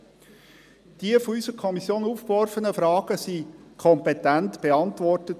Die von unserer Kommission aufgeworfenen Fragen wurden kompetent beantwortet.